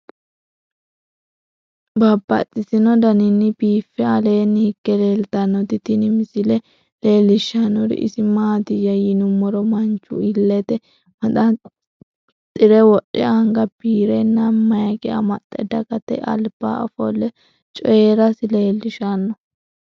Babaxxittinno daninni biiffe aleenni hige leelittannotti tinni misile lelishshanori isi maattiya yinummoro manchu ileette maxanixire wodhe, anga biirrenna mayike amaxxe, dagatte alibba offolle coyiirassi leelishshanno.